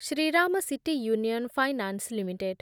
Shriram city union finance limited